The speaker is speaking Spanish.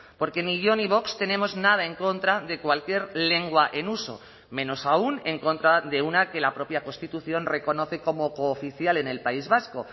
porque ni yo ni vox tenemos nada en contra de cualquier lengua en uso menos aún en contra de una que la propia constitución reconoce como cooficial en el país vasco